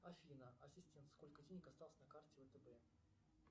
афина ассистент сколько денег осталось на карте втб